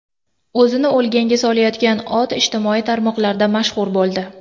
O‘zini o‘lganga solayotgan ot ijtimoiy tarmoqlarda mashhur bo‘ldi .